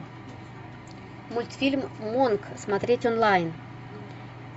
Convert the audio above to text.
мультфильм мунг смотреть онлайн